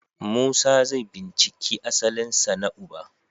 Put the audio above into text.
Musa zai binciki asalinsa na uba.